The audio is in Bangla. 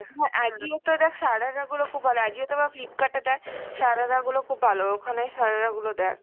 Ajio তে দেখ সারারা গুলো খুব ভালো Ajio তে বা Flipkart এ দেখ সারারা গুলো খুব ভালো, ওখানে সারারা গুলো দেখ.